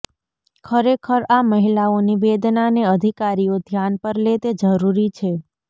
ખરેખર આ મહિલાઓની વેદનાને અધિકારીઓ ધ્યાન પર લે તે જરૂરી છે